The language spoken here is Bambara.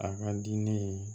A ka di ne ye